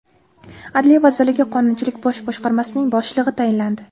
Adliya vazirligi Qonunchilik bosh boshqarmasining boshlig‘i tayinlandi.